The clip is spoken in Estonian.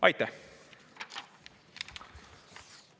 Aitäh!